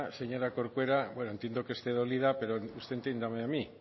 señora corcuera bueno entiendo que esté dolida pero usted entiéndame a mí